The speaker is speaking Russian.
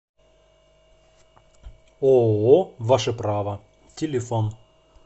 ооо ваше право телефон